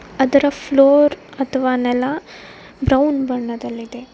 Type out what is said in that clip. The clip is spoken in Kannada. ಅದರ ಫ್ಲೋರ್ ಅಥವಾ ನೆಲ ಬ್ರೌನ್ ಬಣ್ಣದಲ್ಲಿದೆ.